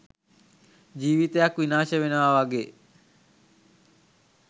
ජීවිතයක් විනාශ වෙනවා වගේ